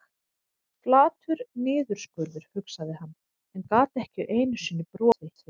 Flatur niðurskurður, hugsaði hann, en gat ekki einu sinni brosað að því.